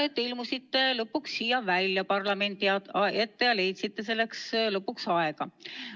Tore, et ilmusite lõpuks siia parlamendi ette, leidsite selleks viimaks aega.